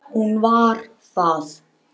Hún var það.